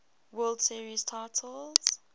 world series titles